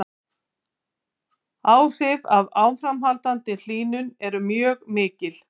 Áhrif af áframhaldandi hlýnun eru mjög mikil.